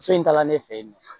So in taala ne fɛ yen nɔ